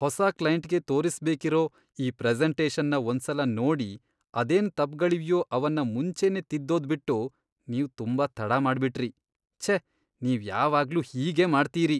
ಹೊಸ ಕ್ಲೈಂಟ್ಗೆ ತೋರಿಸ್ಬೇಕಿರೋ ಈ ಪ್ರೆಸೆಂಟೇಷನ್ನ ಒಂದ್ಸಲ ನೋಡಿ ಅದೇನ್ ತಪ್ಪ್ಗಳಿವ್ಯೋ ಅವನ್ನ ಮುಂಚೆನೇ ತಿದ್ದೋದ್ಬಿಟ್ಟು ನೀವ್ ತುಂಬಾ ತಡ ಮಾಡ್ಬಿಟ್ರಿ, ಛೇ! ನೀವ್ ಯಾವಾಗ್ಲೂ ಹೀಗೇ ಮಾಡ್ತೀರಿ.